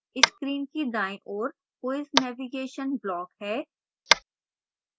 screen की दायीं ओर quiz navigation block है